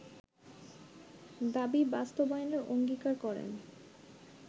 দাবি বাস্তবায়নের অঙ্গীকার করেন